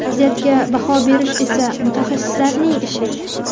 Vaziyatga baho berish esa mutaxassislarning ishi.